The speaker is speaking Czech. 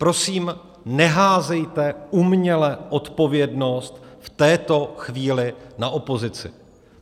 Prosím, neházejte uměle odpovědnost v této chvíli na opozici.